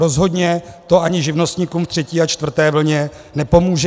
Rozhodně to ani živnostníkům ve třetí a čtvrté vlně nepomůže.